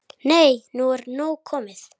Nei, nú er nóg komið!